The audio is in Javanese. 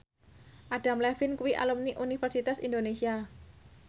Adam Levine kuwi alumni Universitas Indonesia